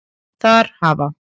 Þar hafa